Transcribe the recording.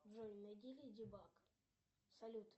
джой найди леди баг салют